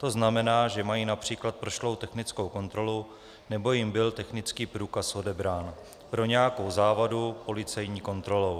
To znamená, že mají například prošlou technickou kontrolu nebo jim byl technický průkaz odebrán pro nějakou závadu policejní kontrolou.